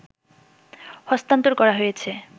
হস্তান্তর করা হয়েছে